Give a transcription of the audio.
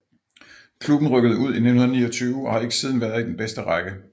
Klubben rykkede ud i 1929 og har ikke siden været i den bedste række